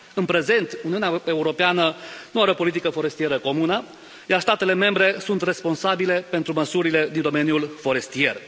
În prezent Uniunea Europeană nu are o politică forestieră comună, iar statele membre sunt responsabile pentru măsurile din domeniul forestier.